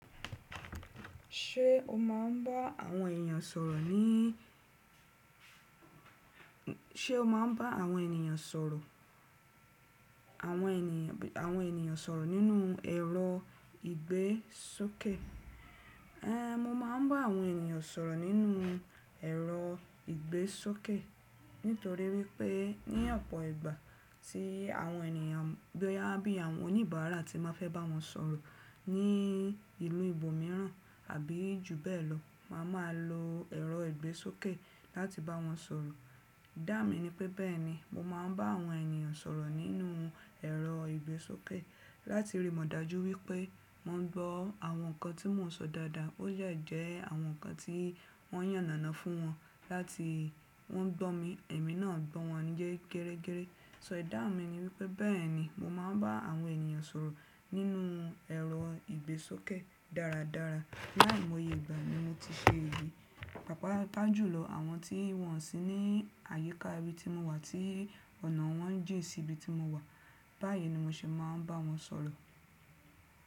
Ṣé o máa ń bá àwọn ènìyàn sọ̀rọ̀ ní, ṣe o máa ń bá àwọn ènìyàn sọ̀rọ̀, àwọn ènìyàn, àwọn ènìyàn sọ̀rọ̀ nínú ẹ̀rọ ìgbésókẹ̀? Ée, mo máa ń bá àwọn ènìyàn sọ̀rọ̀ nínú ẹ̀rọ ìgbésókẹ̀, nítorí wípé ní ọ̀pọ̀ ìgbà tí àwọn ènìyàn bí i àwọn oníbàárà tí má fẹ́ bá wọn sọ̀rọ̀ ní ìlú ibòmíràn àbí ju bẹ́ẹ̀ lọ, màá ma lo ẹ̀rọ ìgbésókẹ̀ láti bá wọn sọ̀rọ̀. Ìdáhùn mi ni pé bẹ́ẹ̀ ni, mo máa ń bá àwọn ènìyàn sọ̀rọ̀ nínú ẹ̀rọ ìgbésókẹ̀ láti rí mọ̀ dájú wípé mo gbọ́ àwọn nǹkan tí mo ń sọ dáadáa ó dẹ́ jẹ́ àwọn nǹkan tí wọ́n yànnànánà fún wọn láti wọ́n gbọ́ mi. Ẹ̀mí náà gbọ́ wọn ye gérégéré. So Ìdáhùn mi ni wípé bẹ́ẹ̀ ni, mo máa ń bá àwọn ènìyàn sọ̀rọ̀ nínú ẹ̀rọ ìgbésókẹ̀ dáradára. Láì monye ìgbà mi mo ti ṣe ìwé, pàápàá jù lọ àwọn tí wọ́n sì ní àyíká ibi tí mo wà tí ọ̀nà wọ́n jìn sí ibi tí mo wà. Báyìí ni mo ṣe máa ń bá wọn sọ̀rọ̀.